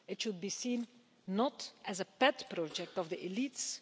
it should be seen not as a pet project of the elites.